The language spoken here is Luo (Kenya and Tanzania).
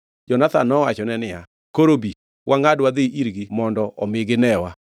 Jonathan nowachone niya, “Koro bi, wangʼad wadhi irgi mondo omi ginewa.